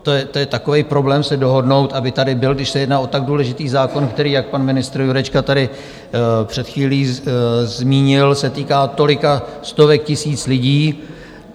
To je takový problém se dohodnout, aby tady byl, když se jedná o tak důležitý zákon, který, jak pan ministr Jurečka tady před chvílí zmínil, se týká tolika stovek tisíc lidí?